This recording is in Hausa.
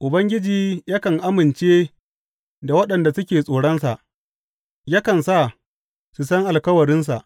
Ubangiji yakan amince da waɗanda suke tsoronsa; yakan sa su san alkawarinsa.